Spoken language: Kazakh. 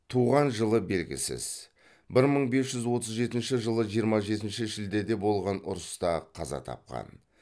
туған жылы белгісіз бір мың бес жүз отыз жетінші жылы жиырма жетінші шілдеде болған ұрыста қаза тапқан